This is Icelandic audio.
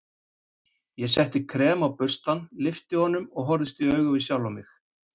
Ég setti krem á burstann, lyfti honum og horfðist í augu við sjálfan mig.